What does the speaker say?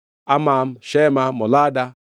Amam, Shema, Molada,